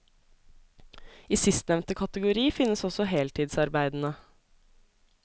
I sistnevnte kategori finnes også heltidsarbeidende.